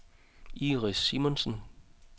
Iris Simonsen